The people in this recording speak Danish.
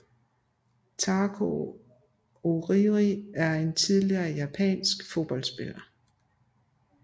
Takao Orii er en tidligere japansk fodboldspiller